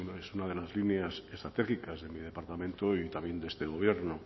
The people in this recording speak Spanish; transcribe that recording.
es una de las líneas estratégicas de mi departamento y también de este gobierno